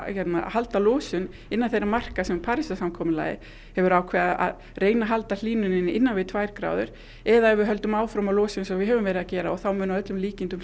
halda losun innan þeirra marka sem Parísarsamkomulagið hefur ákveðið að halda hlýnun innan við tvær gráður eða ef við höldum áfram að losa eins og við höfum verið að gera og þá mun að öllum líkindum